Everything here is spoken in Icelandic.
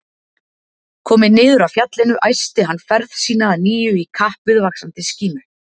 Kominn niður af fjallinu æsti hann ferð sína að nýju í kapp við vaxandi skímu.